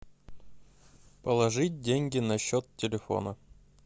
положить деньги на счет телефона